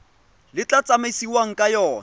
le tla tsamaisiwang ka yona